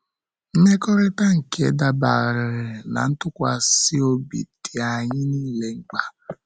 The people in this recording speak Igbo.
Mmekọrịta nke dabeere ná ntụkwasị obi dị anyị nile mkpa